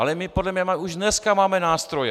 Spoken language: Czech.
Ale my podle mého už dneska máme nástroje.